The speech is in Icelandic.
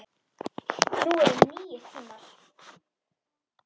Nú eru nýir tímar.